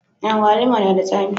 Agwaluma na da tsami